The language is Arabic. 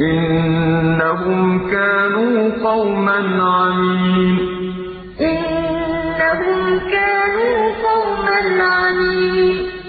إِنَّهُمْ كَانُوا قَوْمًا عَمِينَ